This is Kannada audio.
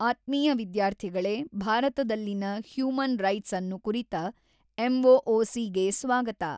ಆತ್ಮೀಯ ವಿದ್ಯಾರ್ಥಿಗಳೇ ಭಾರತದಲ್ಲಿನ ಹ್ಯೂಮನ್ ರೈಟ್ಸ್ ಅನ್ನು ಕುರಿತ ಎಮ್ಓಓಸಿ ಗೆ ಸ್ವಾಗತ.